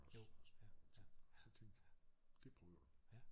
Også og sådan nogle ting og så tænkte jeg det prøver du